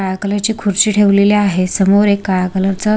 काळ्या कलर ची खुर्ची ठेवलेली आहे समोर एक काळ्या कलर च--